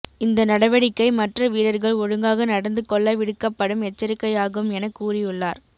இந்த நடவடிக்கை மற்ற வீரர்கள் ஒழுங்காக நடந்து கொள்ள விடுக்கப்படும் எச்சரிக்கையாகும் என கூறியுள்ளார்